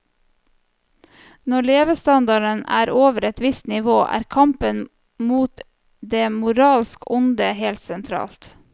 Når levestandarden er over et visst nivå, er kampen mot det moralsk onde helt sentralt.